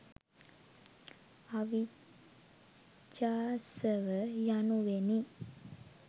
අවිජ්ජාසව, යනුවෙනි.